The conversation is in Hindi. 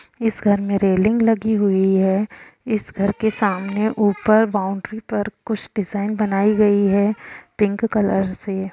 इस घर में रेलिंग लगी हुई है इस घर के सामने ऊपर बॉउंड्री पर कुछ डिज़ाइन बनाई गई है पिंक कलर से --